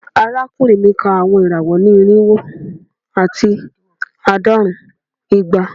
Arakunrin mi ka awọn irawọ ni irinwo ati aadọrun igba